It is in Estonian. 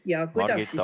Margit, aeg!